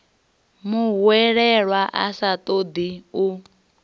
muhwelelwa a sa ṱoḓi u